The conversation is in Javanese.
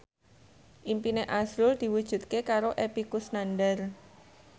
impine azrul diwujudke karo Epy Kusnandar